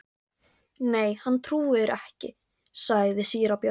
Nei, hann trúir ekki, sagði síra Björn.